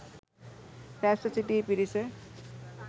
රැස්ව සිටි පිරිස